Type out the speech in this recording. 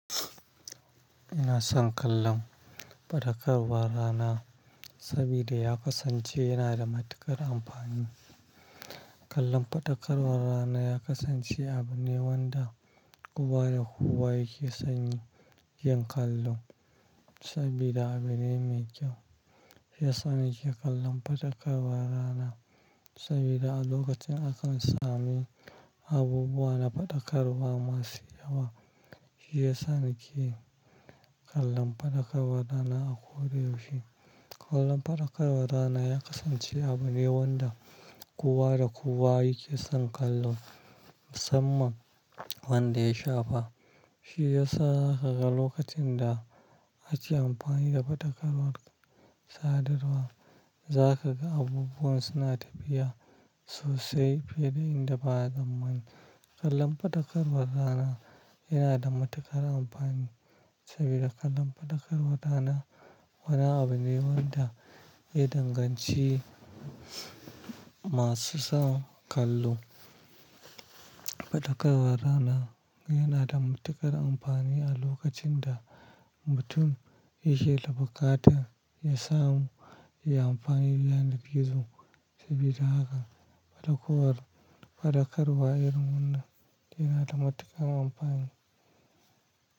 Ina son kallon faɗakarwar rana saboda ya kasance yana da matuƙar amfani. Kallon faɗakarwar rana ya kasance abu ne wanda kowa da kowa yake san yin kallo saboda abu ne mai kyau. Shi ya sa nake kallon faɗakarwar rana saboda a lokacin akan sami abubuwa na faɗakarwa masu yawa. Shi ya sa nake kallon faɗakarwar rana a koyaushe. Kallon faɗakarwar rana ya kasance abu ne wanda kowa da kowa yake son kallo musamman wanda ya shafa. Shi ya sa za ka ga lokacin da ake amfani da faɗakarwar sadarwa, za ka ga abubuwan suna tafiya sosai fiye da inda ba a tsammani. Kallon faɗakarwar rana yana da matuƙar amfani saboda kallon faɗakarwar rana wani abu ne wanda ya danganci masu son kallo Faɗakarwar rana yana da matuƙar amfani a lokacin da mutum yake da bukata, ya samu, ya yi amfani da yanar gizo saboda haka faɗakarwar, faɗakarwa irin wannan yana da matuƙar amfani.